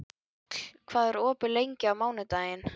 Njáll, hvað er opið lengi á mánudaginn?